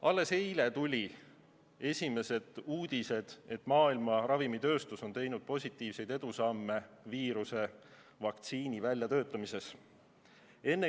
Alles eile tulid esimesed uudised, et maailma ravimitööstus on teinud positiivseid edusamme viiruse vaktsiini väljatöötamisel.